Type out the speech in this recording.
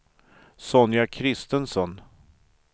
Sonja Kristensson